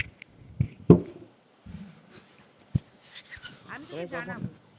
আমি তোকে জানাবো